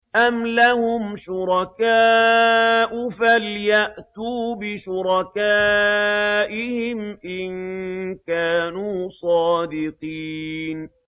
أَمْ لَهُمْ شُرَكَاءُ فَلْيَأْتُوا بِشُرَكَائِهِمْ إِن كَانُوا صَادِقِينَ